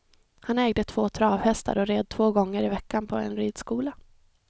Han ägde två travhästar och red två gånger i veckan på en ridskola.